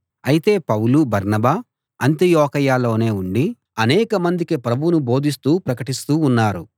అయితే పౌలు బర్నబా అంతియొకయలోనే ఉండి అనేకమందికి ప్రభువును బోధిస్తూ ప్రకటిస్తూ ఉన్నారు